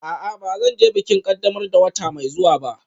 A'a, ba zan je bikin ƙaddamar da wata mai zuwa ba